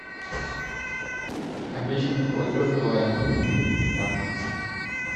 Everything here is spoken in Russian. обещанный платеж билайна как